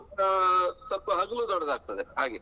ಆ ಸ್ವಲ್ಪ ಹಗುಲು ದೊಡ್ಡದಾಗ್ತದೆ ಹಾಗೆ.